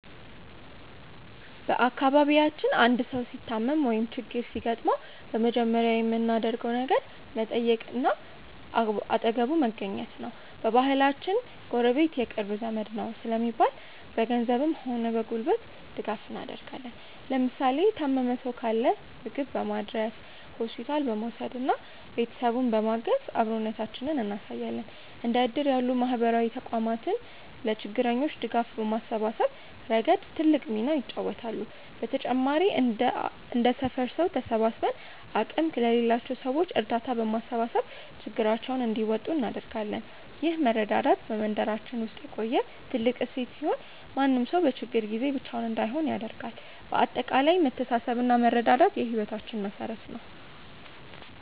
በአካባቢያችን አንድ ሰው ሲታመም ወይም ችግር ሲገጥመው በመጀመሪያ የምናደርገው ነገር መጠየቅና አጠገቡ መገኘት ነው። በባህላችን "ጎረቤት የቅርብ ዘመድ ነው" ስለሚባል፣ በገንዘብም ሆነ በጉልበት ድጋፍ እናደርጋለን። ለምሳሌ የታመመ ሰው ካለ ምግብ በማድረስ፣ ሆስፒታል በመውሰድና ቤተሰቡን በማገዝ አብሮነታችንን እናሳያለን። እንደ እድር ያሉ ማህበራዊ ተቋማትም ለችግረኞች ድጋፍ በማሰባሰብ ረገድ ትልቅ ሚና ይጫወታሉ። በተጨማሪም እንደ ሰፈር ሰው ተሰባስበን አቅም ለሌላቸው ሰዎች እርዳታ በማሰባሰብ ችግራቸውን እንዲወጡ እናደርጋለን። ይህ መረዳዳት በመንደራችን ውስጥ የቆየ ትልቅ እሴት ሲሆን፣ ማንም ሰው በችግር ጊዜ ብቻውን እንዳይሆን ያደርጋል። በአጠቃላይ መተሳሰብና መረዳዳት የህይወታችን መሠረት ነው።